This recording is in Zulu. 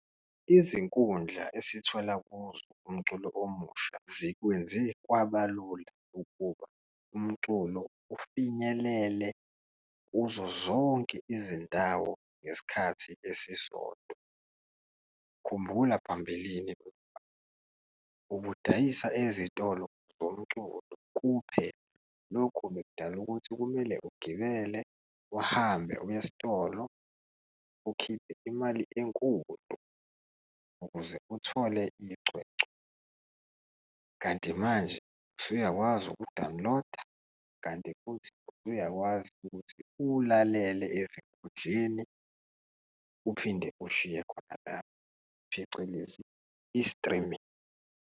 Izinkundla esithola kuzo umculo omusha zikwenze kwabalula ukuba umculo ufinyelele kuzo zonke izindawo ngesikhathi esisodwa. Khumbula phambilini ubudayisa ezitolo zomculo kuphela. Lokhu bekudala ukuthi kumele ugibele uhambe uye esitolo, ukhiphe imali enkulu ukuze uthole icwecwe. Kanti manje usuyakwazi ukuwudawuniloda, kanti futhi usuyakwazi ukuthi uwulalele ezikhundleni, uphinde uwushiye khona lapho, phecelezi i-streaming.